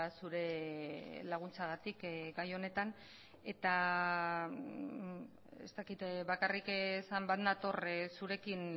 zure laguntzagatik gai honetan eta ez dakit bakarrik esan bat nator zurekin